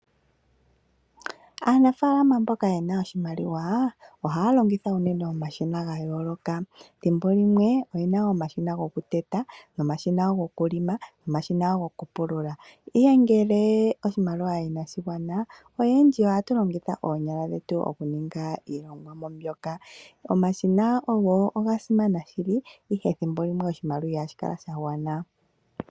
Aanafaalama mbono yena oshimaliwa ohaya longitha omashina gayooloka. Thimbo limwe oyena omashina gokuteta nomashina gokulonga nomashina gokupulula, ihe ngele oshimaliwa inashigwana oyendji ohatu longitha oonyala dhetu okuninga iilonga ndyoka. Omashina ogasimana shili ihe thimbo limwe oshimaliwa ihashi kala shagwana.